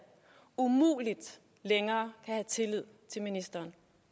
umuligt længere kan have tillid til ministeren